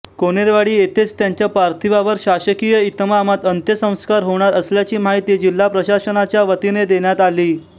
कोनेरवाडी येथेच त्यांच्या पार्थिवावर शासकीय इतमामात अंत्यसंस्कार होणार असल्याची माहिती जिल्हा प्रशासनाच्या वतीने देण्यात आली